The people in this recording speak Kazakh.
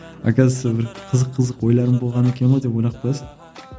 оказывается бір қызық қызық ойларым болған екен ғой деп ойлап қоясың